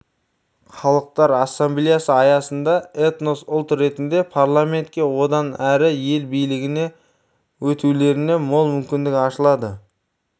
халықтар ассамблеясы аясында этнос ұлт ретінде парламентке одан әрі ел билігіне өтулеріне мол мүмкіндік ашылады